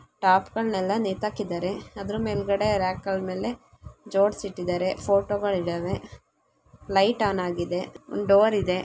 ಟಾಪ್ಗ ಳನ್ನ ಎಲ್ಲಾ ನೇತಾಕಿದಾರೆ ಅದರ ಮೇಲ್ಗಡೆ ರ್‍ಯಾಕ್‌‌ ಗಳ ಮೇಲೆ ಜೋಡಿಸಿ ಇಟ್ಟಿದಾರೆ. ಫೋಟೋ ಗಳು ಇದಾವೆ ಲೈಟ್ ಆನ್ ಆಗಿದೆ ಒಂದು ಡೋರ್ ಇದೆ.